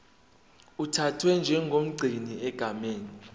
uthathwa njengomgcini egameni